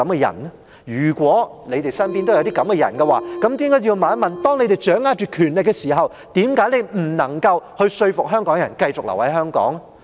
如果有，你們便要問一問，當你們掌握權力的時候，為何你們不能夠說服香港人繼續留在香港？